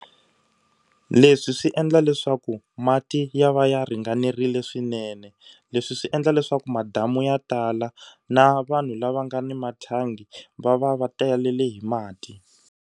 Leswi swi endla leswaku mati ya va ya ringanerile swinene. Leswi swi endla leswaku madamu ya tala na vanhu lava nga ni mathangi va va va talele hi mati.